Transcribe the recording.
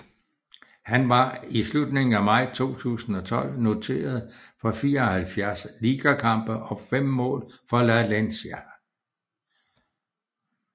Han var i slutningen af maj 2012 noteret for 74 ligakampe og fem mål for Valencia